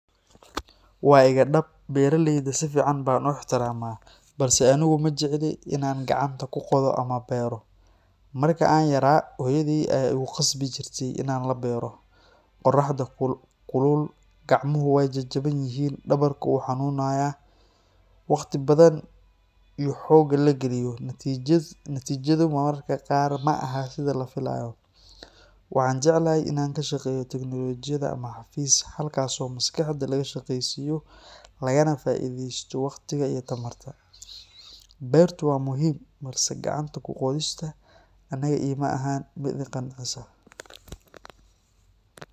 Waa iga dhab, beeralayda si fiican baan u ixtiraamaa, balse anigu ma jecli in aan gacanta ku qodo ama beero. Marka aan yaraa, hooyaday ayaa igu khasbi jirtay inaan la beero, qorraxda kulul, gacmuhu way jajaban yihiin, dhabarku wuu xanuunaa. Waqtiga badan iyo xoogga la geliyo, natiijadu mararka qaar ma aha sida la filayo. Waxaan jeclahay inaan ka shaqeeyo teknoolojiyadda ama xafiis, halkaasoo maskaxda laga shaqaysiiyo, lagana faa’iideysto waqtiga iyo tamarta. Beertu waa muhiim, balse gacanta ku qodista aniga iima ahan mid i qancisa.